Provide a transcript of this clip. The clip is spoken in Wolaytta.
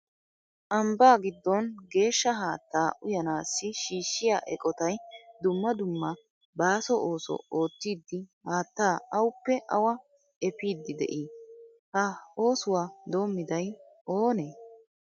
Ambba giddon geeshsha haattaa uyyanassi shiishhshiya eqotay dumma dumma baaso ooso oottidi haattaa awuppe awaa efiidi de'ii? Ha oosuwa doommiday oonee?